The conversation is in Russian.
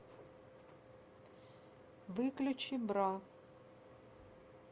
выключи бра